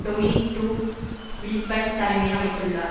Dominic de Villepin தலைமையில் அமைத்துள்ளார்